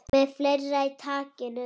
Með fleira í takinu